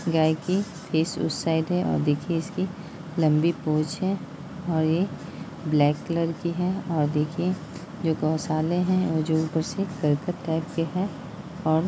गाय की फेस उस साइड है और देखी इसकी लंबी पूछ है और यह ब्लैक कलर की है और देखिए जो गौसले है वो जो ऊपर से करकट टाइप के है और--